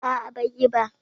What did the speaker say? A'a bai yi ba